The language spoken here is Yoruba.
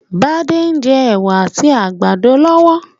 Bádé n je èwà àtí àgbàdo lọ́wọ́